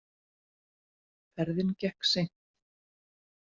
Ferðin gekk seint.